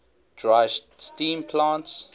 dry steam plants